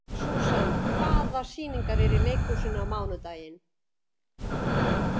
Susan, hvaða sýningar eru í leikhúsinu á mánudaginn?